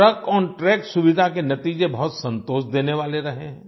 ट्रकोंट्रैक सुविधा के नतीजे बहुत संतोष देने वाले रहे हैं